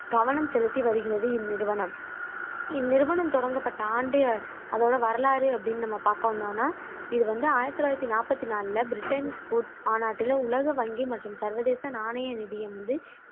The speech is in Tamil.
கவனம் செலுத்தி வருகிறது இன்நிறுவனம் இந்நிறுவனம் தொடங்கப்பட்ட ஆண்டு அதோட வரலாறு அப்படின்னு நம்ம பாக்க வந்தோம்னா இது வந்து ஆயிரத்தி தொள்ளாயிரத்தி நாப்பத்தி நாலுல பிரெட்டன் வூட்ஸ் மாநாட்டில உலக வங்கி மற்றும் சர்வதேச நாணய நிதியம் வந்து